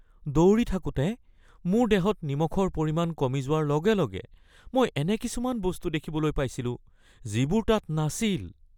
দৌৰি থাকোঁতে মোৰ দেহত নিমখৰ পৰিমাণ কমি যোৱাৰ লগে লগে মই এনে কিছুমান বস্তু দেখিবলৈ পাইছিলোঁ যিবোৰ তাত নাছিল